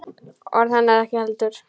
Orð hennar ekki heldur.